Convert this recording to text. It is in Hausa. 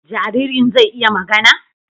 Jaririn zai iya magana?